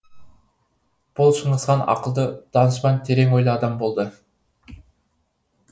бұл шыңғыс хан ақылды данышпан терең ойлы адам болды